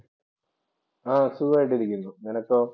ആ സുഖം ആയിട്ട് ഇരിക്കുന്നു. നെനക്കോ?